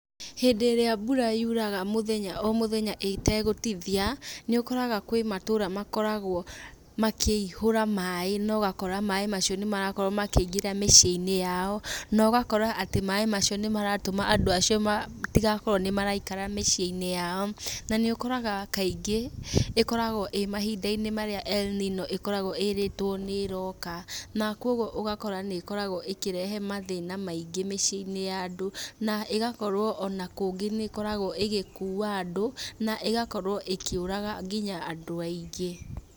Hĩndĩ ĩria mbura yuraga mũthenya o mũthenya ĩtegũtithia, nĩ ũkoraga kwĩ matũra makoragwo makĩihũra maĩ na ũgakora maĩ macio nĩ marakorwo makĩingĩra mĩciĩ-inĩ yao, na ũgakora atĩ maĩ macio nĩ maratũma andũ acio matigakorwo nĩ maraikara mĩciĩ-inĩ yao, na ũkoraga kaingĩ, ĩkoragwo ĩ mahinda-inĩ marĩa el nino ĩkoragwo ĩrĩtwo nĩ ĩroka, na kogwo ũgakora nĩ ĩkoragwo ĩkĩrehe mathĩna maingĩ mĩciĩ-inĩ ya andũ, na ĩgakorwo ona kũngĩ nĩ ĩkoragwo ĩgĩkua andũ, na ĩgakorwo ĩkĩũraga nginya andũ aingĩ.